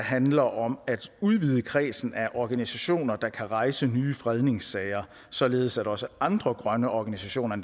handler om at udvide kredsen af organisationer der kan rejse nye fredningssager således at også andre grønne organisationer